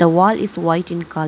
The wall is white in co --